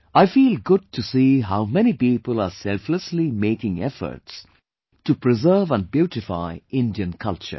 I feel good to see how many people are selflessly making efforts to preserve and beautify Indian culture